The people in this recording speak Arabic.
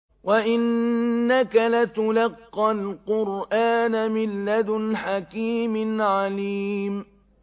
وَإِنَّكَ لَتُلَقَّى الْقُرْآنَ مِن لَّدُنْ حَكِيمٍ عَلِيمٍ